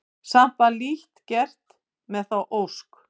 Samt var lítt gert með þá ósk.